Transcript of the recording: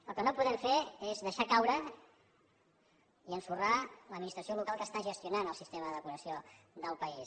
el que no podem fer és deixar caure i ensorrar l’administració local que està gestionant el sistema de depuració del país